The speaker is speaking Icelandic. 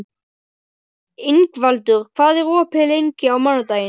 Ingvaldur, hvað er opið lengi á mánudaginn?